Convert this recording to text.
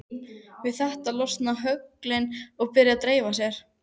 Við þetta losna höglin og byrja að dreifa sér.